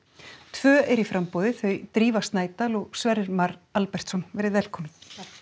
tvö eru í framboði þau Drífa Snædal og Sverrir Mar Albertsson velkomin